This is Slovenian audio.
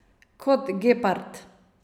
Kot gepard.